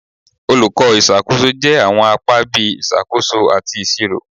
Olukọ iṣakoso jẹ awọn apa bii Isakoso ati Iṣiro